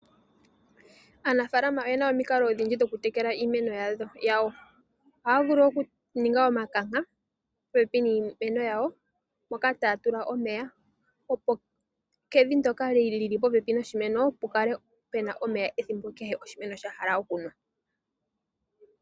Aanafalama oyena omikalo odhindji dhoku tekela iimeno yawo. Ohaya vulu okuninga omikanka popepi niimeno yawo, moka taya tula omeya opo kevi ndyoka lili popepi noshimeno pukale puna omeya ethimbo kehe oshimeno sha hala okunwa.